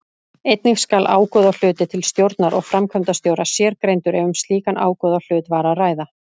Einnig skal ágóðahluti til stjórnar og framkvæmdastjóra sérgreindur ef um slíkan ágóðahluta var að ræða.